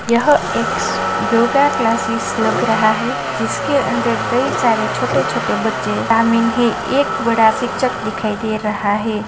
यह एक yoga classes लग रहा है जिसके अंदर कई सारे छोटे-छोटे बच्चे शामिल है एक बड़ा शिक्षक दिखाई दे रहा है।